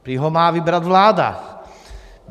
Prý ho má vybrat vláda.